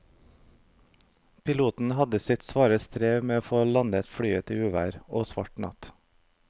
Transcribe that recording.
Piloten hadde sitt svare strev med å få landet flyet i uvær og svart natt.